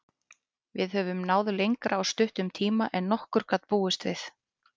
Við höfum náð lengra á stuttum tíma en nokkur gat búist við.